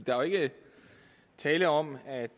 der er jo ikke tale om at